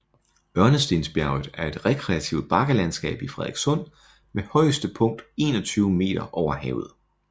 Ørnestensbjerget er et rekreativt bakkelandskab i Frederikssund med højeste punkt 21 meter over havet